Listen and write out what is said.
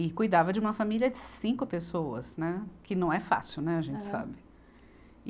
E cuidava de uma família de cinco pessoas, né, que não é fácil, né, a gente sabe.